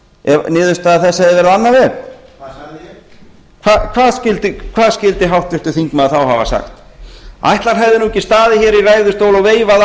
ef niðurstaða hennar hefði verið á annan veg hvað sagði ég hvað skyldi háttvirtur þingmaður þá hafa sagt ætli hann hefði nú ekki staðið hér í ræðustól og veifað